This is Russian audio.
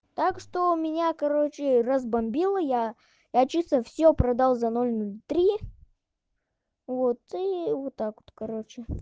так что у меня короче разбомбила я я чисто всё продал за ноль три вот и вот так вот короче